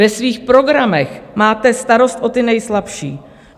Ve svých programech máte starost o ty nejslabší.